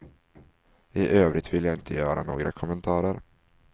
I övrigt vill jag inte göra några kommentarer.